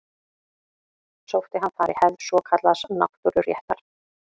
Sótti hann þar í hefð svokallaðs náttúruréttar.